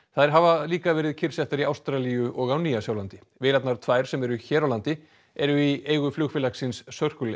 þær hafa líka verið kyrrsettar í Ástralíu og á Nýja Sjálandi vélarnar tvær sem eru hér á landi eru í eigu flugfélagsins Circle